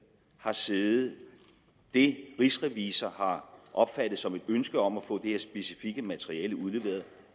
har siddet det rigsrevisor har opfattet som et ønske om at få det her specifikke materiale udleveret